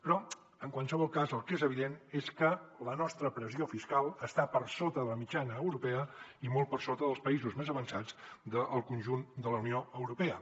però en qualsevol cas el que és evident és que la nostra pressió fiscal està per sota de la mitjana europea i molt per sota dels països més avançats del conjunt de la unió europea